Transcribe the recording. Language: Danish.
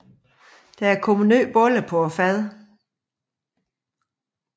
Der er kommet nye boller på fadet